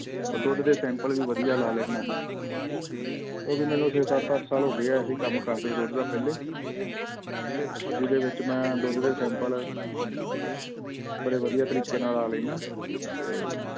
ਉਹ ਦੁੱਧ ਦੇ sample ਵੀ ਵਧੀਆ ਲਾ ਲੈਨਾ ਮੈਂ ਉਹ ਵੀ ਮੈਨੂੰ ਛੇ ਸੱਤ ਅੱਠ ਸਾਲ ਹੋ ਗਏ ਆ ਇਹ ਕੰਮ ਕਰਦੇ ਦੁੱਧ ਦਾ ਪਹਿਲੇ ਔਰ ਜਿਹਦੇ ਵਿੱਚ ਮੈਂ ਦੁੱਧ ਦੇ sample ਬੜੇ ਵਧੀਆ ਤਰੀਕੇ ਨਾਲ ਲਾ ਲੈਨਾ ਤੇ